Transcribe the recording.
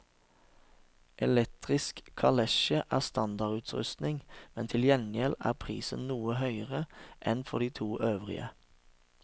Elektrisk kalesje er standardutrustning, men til gjengjeld er prisen noe høyere enn for de to øvrige.